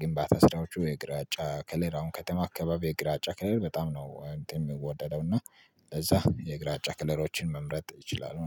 ግንባታ ስራዎቹ የግራጫ ከለር አሁን ከተማ አካባቢ የግራጫ ከለር በጣም ነው እንትን የምወደደው እና ለዛ የግራጫ ከለሮችን መምረጥ ይችላሉ